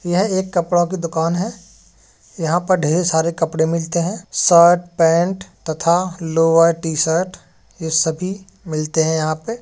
यह एक कपड़ों की दुकान है। यहाँ पर ढेर सारे कपड़े मिलते हैं। शर्ट पेंट तथा लोअर टी-शर्ट ये सभी मिलते हैं यहाँ पे।